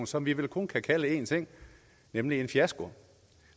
som vi vel kun kan kalde én ting nemlig en fiasko